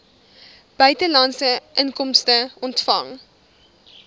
buitelandse inkomste ontvang